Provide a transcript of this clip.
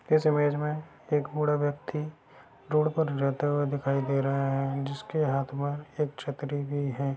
इस इमेज में एक बूढ़ा व्यक्ति रोड पे लड़ता हुआ दिखाई दे रहा है जिसके हाथ में एक छतरी भी है।